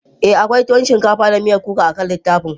Ee, akwai tuwon shinkafa da miyan kuka akan littafin.